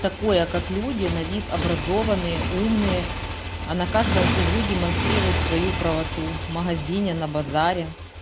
такое как люди на вид образованные умные а на каждом углу демонстрируют свою правоту в магазине на базаре